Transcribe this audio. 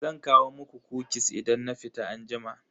Zan kawo muku "kukis" idan na fita anjima.